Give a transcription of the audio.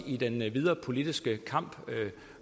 i den videre politiske kamp